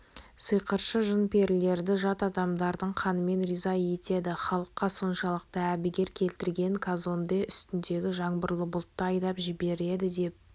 сиқыршы жын-перілерді жат адамдардың қанымен риза етеді халыққа соншалықты әбігер келтірген казонде үстіндегі жаңбырлы бұлтты айдап жібереді деп